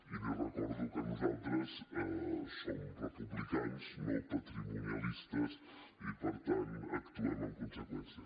i li recordo que nosaltres som republicans no patrimonialistes i per tant actuem en conseqüència